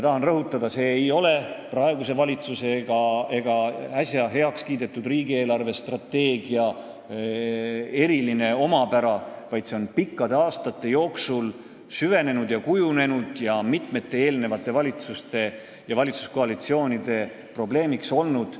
Tahan rõhutada, et see ei ole praeguse valitsuse ega äsja heaks kiidetud riigi eelarvestrateegia eriline omapära, vaid see on pikkade aastate jooksul süvenenud ja kujunenud ning see on mitme eelneva valitsuse ja valitsuskoalitsiooni probleem olnud.